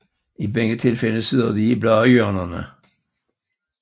I begge tilfælde sidder de i bladhjørnerne